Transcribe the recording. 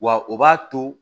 Wa o b'a to